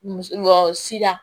Wa si la